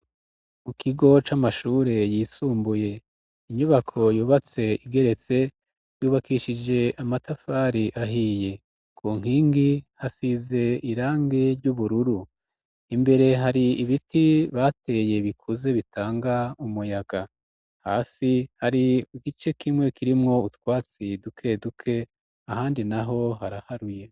Mu kigo c'amashure yisumbuye. Inyubako yubatse igeretse, yubakishije amatafari ahiye. Ku nkingi, hasize irangi ry'ubururu. Imbere hari ibiti bateye bikuze bitanga umuyaga. Hasi hari igice kimwe kirimwo utwatsi dukeduke, ahandi na ho haraharuye.